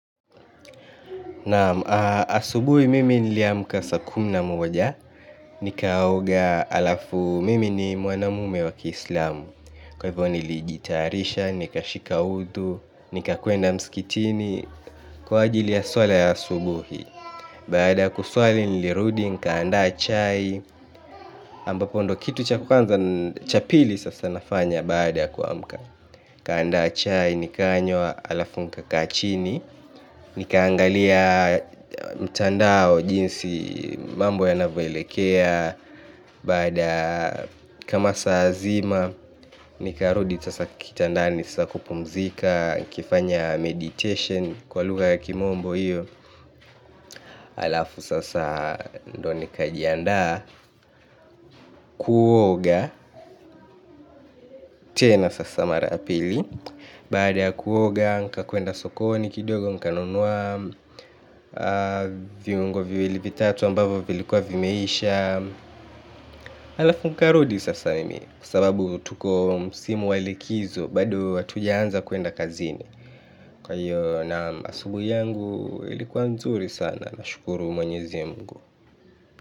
Naam asubuhi mimi niliamka saa kumi na moja, nikaoga alafu mimi ni mwanamume waki islamu. Kwa hivyo nili jitarisha, nika shika udu, nika kuenda mskitini, kwa ajili ya swala ya asubuhi. Baada ya kusuali nilirudi, nikaanda chai, ambapo ndio kitu cha kwanza cha pili sasa nafanya baada kua mka. Kaanda chai ni kanywa alafu nikaa chini. Nikaangalia mtandao jinsi mambo ya navyo elekea baada kama saa zima. Nikarudi sasa kitandani sasa kupumzika nikifanya meditation kwa lugha ya kimombo hiyo halafu sasa ndo nikajiandaa kuoga tena sasa mara ya pili baada ya kuoga nikakwenda sokoni kidogo nikanunua viungo viwili, vitatu ambavyo vilikuwa vimeisha. Halafu nikarudi sasa mimi kwa sababu tuko msimu wa likizo bado hatujaanza kuenda kazini kwa hiyo naam, asubuhi yangu ilikuwa nzuri sana nashukuru Mwenyezi Mungu.